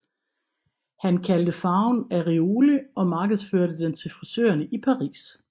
Han kaldte farven Auréole og markedsførte den til frisørerne i Paris